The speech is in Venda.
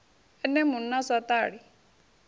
ene munna a sa ṱali